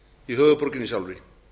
í höfuðborginni sjálfri